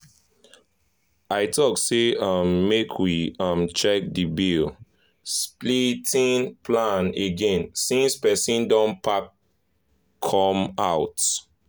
i talk say um make we um check the bill-splitting plan again since person don pack come out. um